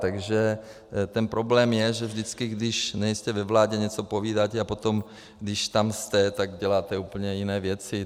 Takže ten problém je, že vždycky když nejste ve vládě, něco povídáte, a potom, když tam jste, tak děláte úplně jiné věci.